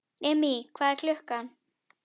Immý, hvað er klukkan?